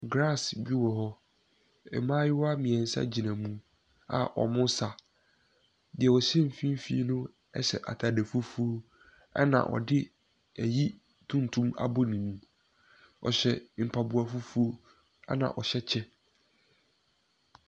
Grass bi wɔ hɔ. Mmaayewa mmeɛnsa gyina mu a wɔresa. Deɛ ɔhyɛ mfimfini no hyɛ atade fufuo, ɛna ɔde ayi tuntum abɔ ne mu. Ɔhyɛ mpaboa fufuo, ɛna ɔhyɛ kyɛ.